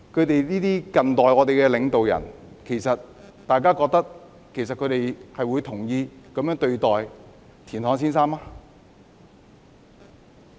對於這些近代領導人，其實大家認為他們會同意這樣對待田漢先生嗎？